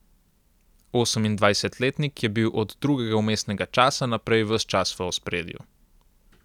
Osemindvajsetletnik je bil od drugega vmesnega časa naprej ves čas v ospredju.